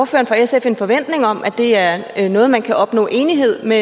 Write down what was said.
for sf en forventning om at det er noget man kan opnå enighed med